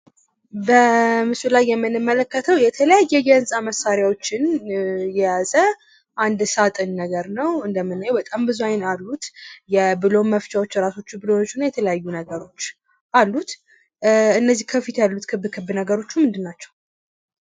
በምስሉ ላይ የምንመለከተው የተለያየ የህንጻ መሳሪያዎችን የያዘ አንድ ሳጥን ነገር ነው እንደምናየው በጣም ብዙ አይን አሉት። የቡለን መፍቻዎች፣ ራሳቸው ቡለኖች እና የተለያዩ ነገሮች አሉት ።እነዚህ ከፊት ያሉት ክብ ክብ ነገሮቹ ምንድን ናቸው?